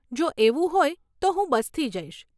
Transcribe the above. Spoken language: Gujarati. જો એવું હોય તો હું બસથી જઈશ.